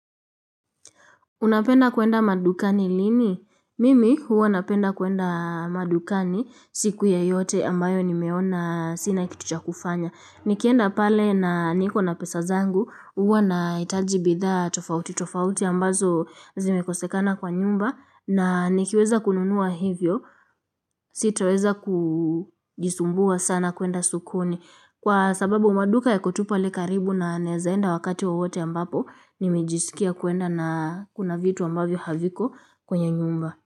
Unapenda kwenda madukani lini? Mimi huwa napenda kuenda madukani siku yoyote ambayo nimeona sina kitu cha kufanya. Nikienda pale na niko na pesa zangu huwa naitaji bidhaa tofauti tofauti ambazo zimekosekana kwa nyumba na nikiweza kununua hivyo sitoweza kujisumbua sana kuenda sokoni. Kwa sababu maduka yako tu pale karibu na naezaenda wakati wowote ambapo nimejisikia kuenda na kuna vitu ambavyo haviko kwenye nyumba.